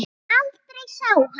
Aldrei sá hann